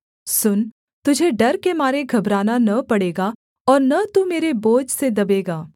सुन तुझे डर के मारे घबराना न पड़ेगा और न तू मेरे बोझ से दबेगा